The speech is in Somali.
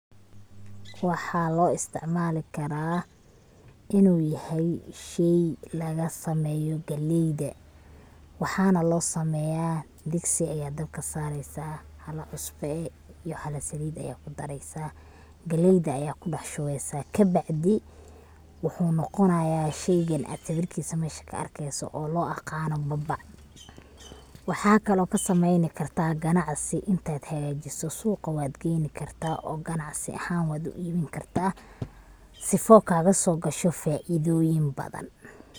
Waxa loo isticmaali karaa inu yahay shey laga sameeyo galeyda, wxana loo sameeya, digsi ayad dabka saareysa, hala cusbo eh iyo hala saliid eh aya kudareysa galeyda aya kudhax shubeysa kabacdi wuxuu noqonaya sheygan ad sawirkiis mesha ka arkeyso oo loo aqano babac, waxakale od kasameeyni kartaa ganacsi intad hagaajiso suqa wad geyni kartaa oo ganacsi ahan wad u ibin kartaa sifo kagaso gasho faa'iidooyin badan